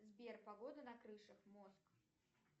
сбер погода на крышах моск